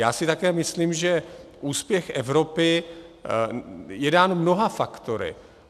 Já si také myslím, že úspěch Evropy je dán mnoha faktory.